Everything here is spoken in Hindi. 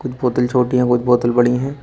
कुछ बोतल छोटी है बहुत बोतल बड़ी है।